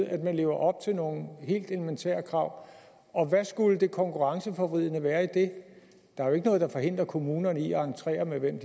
at man lever op til nogle helt elementære krav og hvad skulle det konkurrenceforvridende være i det der er jo ikke noget der forhindrer kommunerne i at entrere med hvem